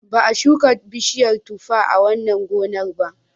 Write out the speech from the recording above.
Ba a shuka bishiyar tuffa a wannan gonar ba.